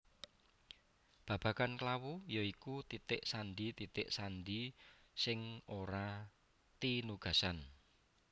Babagan klawu ya iku titik sandi titik sandi sing ora tinugasan